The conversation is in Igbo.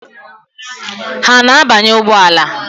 Ha ana-abanye ụgbọala?